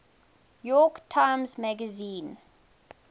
york times magazine